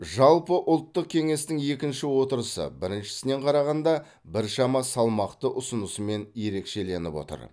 жалпы ұлттық кеңестің екінші отырысы біріншісінен қарағанда біршама салмақты ұсынысымен ерекшеленіп отыр